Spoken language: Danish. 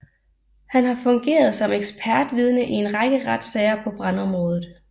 Han har fungeret som ekspertvidne i en række retssager på brandområdet